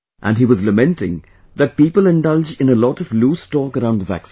And he was lamenting that people indulge in a lot of loose talk around the vaccine